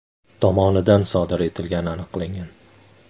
tomonidan sodir etilgani aniqlangan.